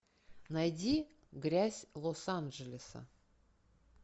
найди грязь лос анджелеса